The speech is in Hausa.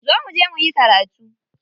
Zo muje muyi karatu.